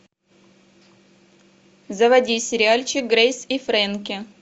заводи сериальчик грейс и фрэнки